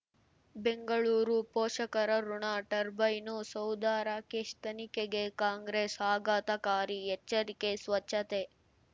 ಬೆಂಗಳೂರು ಪೋಷಕರಋಣ ಟರ್ಬೈನು ಸೌಧ ರಾಕೇಶ್ ತನಿಖೆಗೆ ಕಾಂಗ್ರೆಸ್ ಆಘಾತಕಾರಿ ಎಚ್ಚರಿಕೆ ಸ್ವಚ್ಛತೆ